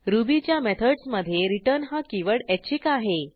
रुबीच्या मेथडसमधे रिटर्न हा कीवर्ड ऐच्छिक आहे